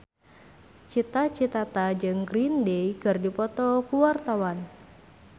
Cita Citata jeung Green Day keur dipoto ku wartawan